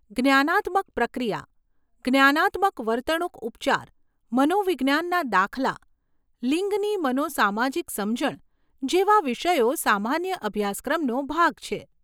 જ્ઞાનાત્મક પ્રક્રિયા, જ્ઞાનાત્મક વર્તણૂક ઉપચાર, મનોવિજ્ઞાનના દાખલા, લિંગની મનો સામાજિક સમજણ જેવા વિષયો સામાન્ય અભ્યાસક્રમનો ભાગ છે.